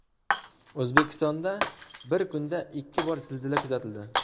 O‘zbekistonda bir kunda ikki bor zilzila kuzatildi.